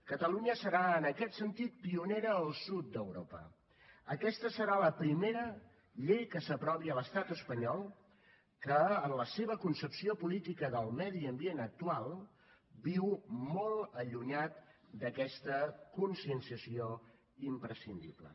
catalunya serà en aquest sentit pionera al sud d’europa aquesta serà la primera llei que s’aprovi a l’estat espanyol que en la seva concepció política del medi ambient actual viu molt allunyat d’aquesta conscienciació imprescindible